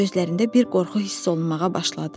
Onun gözlərində bir qorxu hiss olunmağa başladı.